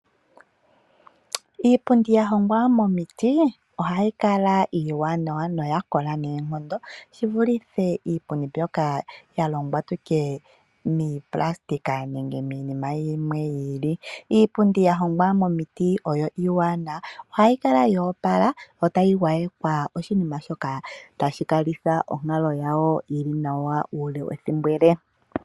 Iipundi yahongwa moomiti ohayi kala iiwanawa noya kola noonkondo, shi vulithe iipundi mbyoka ya longwa mopulasitika nenge miinima yimwe yi ili. Iipundi ya hongwa moomiti oyo iiwanawa ohayi kala yo oplala yo tayi gwayekwa oshinima shoka tashi kalitha onkalo yawo yi li nawa uule wethimbo ele.